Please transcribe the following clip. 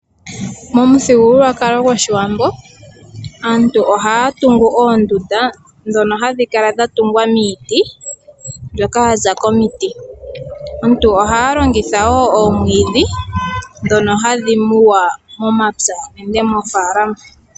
Momu thigululwakalo goshiwambo aantu ohaya tungu oondunda , dhono hadhi kala dha tungwa miiti mbyoka yaza komiiti. Omuntu ohaya longitha wo oomwiidhi dhono hadhi muwa momapya unene moofalama.